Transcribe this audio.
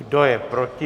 Kdo je proti?